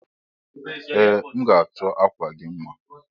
Ee m ga achọ akwa gi mma.